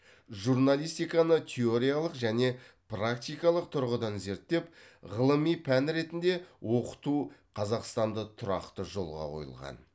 журналистиканы теориялық және практикалық тұрғыдан зерттеп ғылыми пән ретінде оқыту қазақстанда тұрақты жолға қойылған